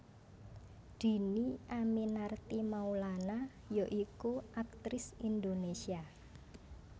Dhini Aminarti Maulana ya iku aktris Indonésia